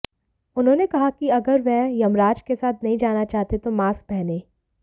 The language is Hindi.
उन्होंने कहा कि अगर वह यमराज के साथ नहीं जाना चाहते तो मास्क पहनें